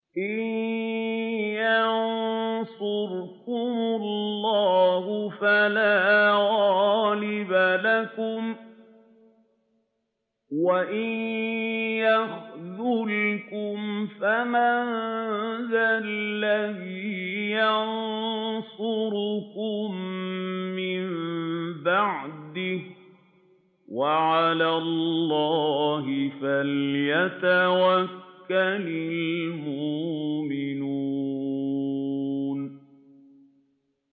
إِن يَنصُرْكُمُ اللَّهُ فَلَا غَالِبَ لَكُمْ ۖ وَإِن يَخْذُلْكُمْ فَمَن ذَا الَّذِي يَنصُرُكُم مِّن بَعْدِهِ ۗ وَعَلَى اللَّهِ فَلْيَتَوَكَّلِ الْمُؤْمِنُونَ